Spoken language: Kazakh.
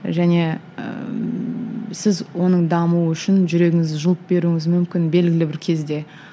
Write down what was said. және ыыы сіз оның дамуы үшін жүрегіңізді жұлып беруіңіз мүмкін белгілі бір кезде